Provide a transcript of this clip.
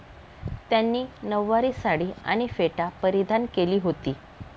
त्यांनी नऊवारी साडी आणि फेटा परिधान केली होती.